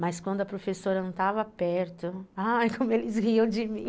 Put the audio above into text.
Mas quando a professora não estava perto... Ai, como eles riam de mim.